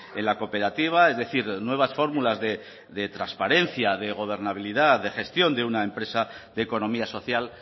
en la cooperativa es decir nuevas fórmulas de transparencia de gobernabilidad de gestión de una empresa de economía social